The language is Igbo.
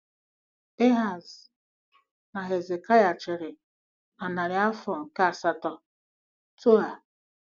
Ehaz na Hezekaịa chịrị na narị afọ nke asatọ T.O.A.